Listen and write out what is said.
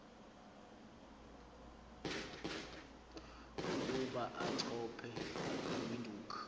ukuba achophe ewindhoek